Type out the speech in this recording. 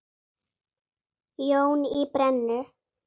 Jón í Brennu.